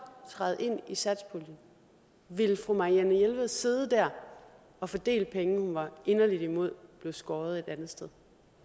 træde ind i satspuljen ville fru marianne jelved sidde der og fordele penge hun var inderligt imod blev skåret et andet sted